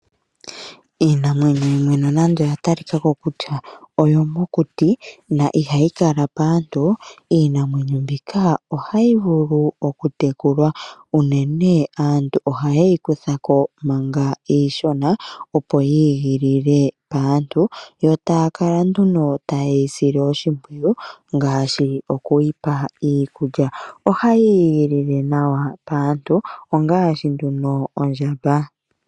Iinamwenyo yimwe nonando oya talika ko kutya oyomokuti no ihayi kala paantu, iinamwenyo mbika ohayi vulu okutekulwa. Unene aantu ohaye yi kutha ko manga iishona, opo yi igilile paantu yo taya kala nduno taye yi sile oshimpwiyu ngaashi okuyi pa iikulya. Ohayi igilile nawa paantu ngaashi ondjamba.